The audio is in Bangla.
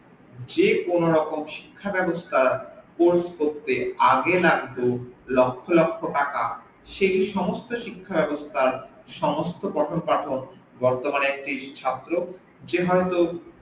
যেকোনো রকম শিক্ষা ব্যাবস্থা গ্রহন করতে আগে লাগত লক্ষ্য লক্ষ্য টাকা সে সমস্ত শিক্ষা ব্যাবস্থা সমস্ত পঠক পাঠক বর্তমানে একটি ছাত্র যে হইত